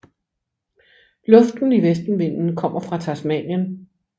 Luften i vestenvinden kommer fra Tasmanien